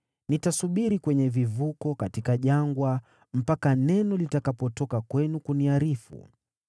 Nitasubiri kwenye vivuko katika jangwa mpaka neno litakapotoka kwenu kuniarifu.”